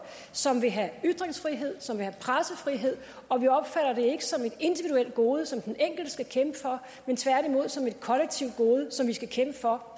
som vil have ytringsfrihed som vil have pressefrihed og vi opfatter det ikke som et individuelt gode som den enkelte skal kæmpe for men tværtimod som et kollektivt gode som vi skal kæmpe for